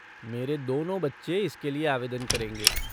मेरे दोनों बच्चे इसके लिए आवेदन करेंगे।